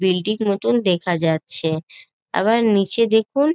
Building নতুন দেখা যাচ্ছে আবার নিচে দেখুন।